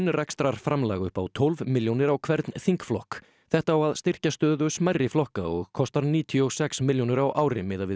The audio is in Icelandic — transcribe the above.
grunnrekstrarframlag upp á tólf milljónir á hvern þingflokk þetta á að styrkja stöðu smærri flokka og kostar níutíu og sex milljónir á ári miðað við